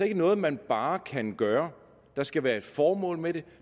ikke noget man bare kan gøre der skal være et formål med det